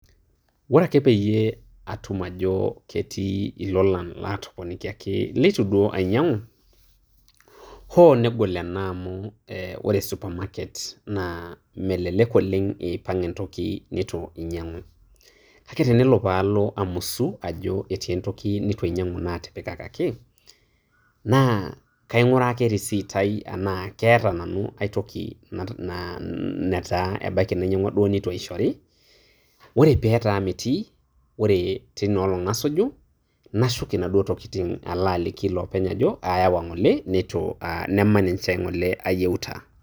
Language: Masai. Ore ake peyie atum ajo ketii ilolan latoponikiaki leitu duo ainyang'u, hoo negol ena amu ore te supermarket naa melelek oleng' eipang' entoki neitu inyang'u. Kake tenelo paalo amusu ajo etii entoki neitu ainyang'u natipikakaki, naa kaing'uraa ake risiit ai enaa keeta nanu aitoki netaa ebaiki nainyang'ua duo neitu aishori. Ore petaa metii, ore teina olong' nasuju, nashuk inaduo tokiting'. Nala aliki ilopeny ajo ayawa ng'ole neitu ah nemaninche ng'ole ayieuta.